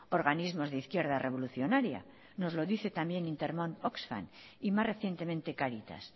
organismos de izquierda revolucionaria nos lo dice también intermon oxfam y más recientemente cáritas